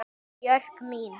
Björk mín.